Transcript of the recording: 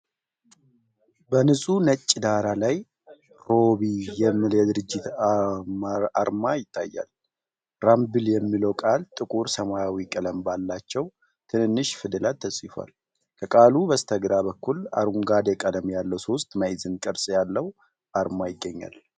በንጹህ ነጭ ዳራ ላይ “ሮቢ” የሚል የድርጅት አርማ ይታያል። “rumble” የሚለው ቃል ጥቁር ሰማያዊ ቀለም ባላቸው ትንንሽ ፊደላት ተጽፏል። ከቃሉ በስተግራ በኩል አረንጓዴ ቀለም ያለው ሶስት ማዕዘን ቅርጽ ያለው አርማ ይገኛል።